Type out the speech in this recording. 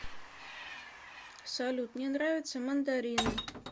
салют мне нравятся мандарины